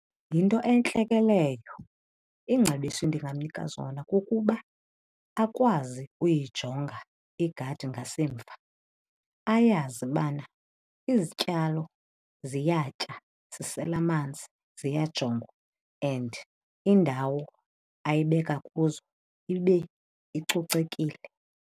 Yinto entle ke leyo. Iingcebiso endingamnika zona kukuba akwazi uyijonga igadi ngasemva. Ayazi bana izityalo ziyatya, zisela amanzi, ziyajongwa and indawo ayibeka kuzo ibe icocekile.